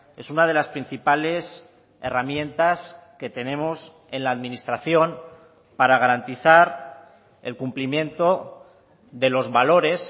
es una de las principales herramientas que tenemos en la administración para garantizar el cumplimiento de los valores